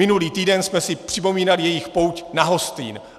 Minulý týden jsme si připomínali jejich pouť na Hostýn.